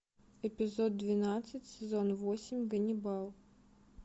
эпизод двенадцать сезон восемь ганнибал